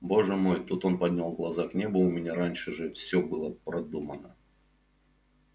боже мой тут он поднял глаза к небу у меня раньше же все было продумано